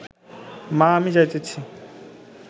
মা আমি যাইতাছি